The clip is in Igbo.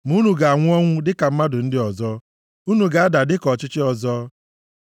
Ma unu ga-anwụ ọnwụ dịka mmadụ ndị ọzọ; unu ga-ada dịka ndị ọchịchị ọzọ.”